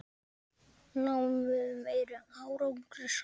Náum við meiri árangri saman?